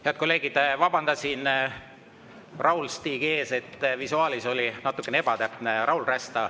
Head kolleegid, vabandan Raul-Stigi ees, visuaalis oli natukene ebatäpne.